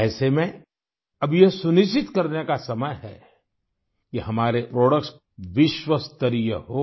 ऐसे में अब यह सुनिश्चित करने का समय है कि हमारे प्रोडक्ट्स विश्वस्तरीय हों